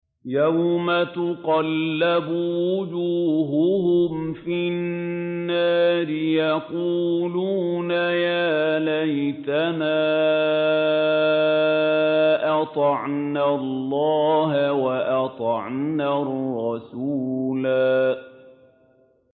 يَوْمَ تُقَلَّبُ وُجُوهُهُمْ فِي النَّارِ يَقُولُونَ يَا لَيْتَنَا أَطَعْنَا اللَّهَ وَأَطَعْنَا الرَّسُولَا